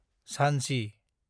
Jhansi